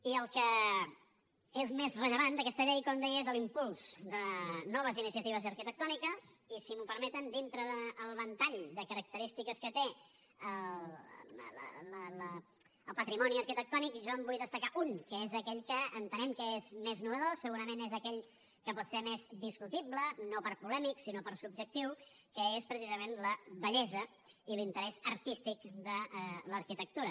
i el que és més rellevant d’aquesta llei com deia és l’impuls de noves iniciatives arquitectòniques i si m’ho permeten dintre del ventall de característiques que té el patrimoni arquitectònic jo en vull destacar un que és aquell que entenem que és més innovador segurament és aquell que pot ser més discutible no per polèmic sinó per subjectiu que és precisament la bellesa i l’interès artístic de l’arquitectura